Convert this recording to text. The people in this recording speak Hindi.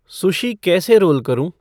सुशी कैसे रोल करूँ